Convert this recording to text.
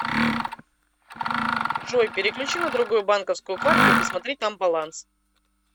джой переключи на другую банковскую карту и посмотри там баланс